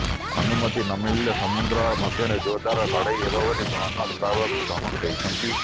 ଅନୁମତି ନମିଳିଲେ ସମୁଦ୍ର ମଧ୍ୟରେ ଜୋରଦାର ଲଢେଇ ହେବ ବୋଲି ବନବିଭାଗକୁ ଧମକ ଦେଇଛନ୍ତି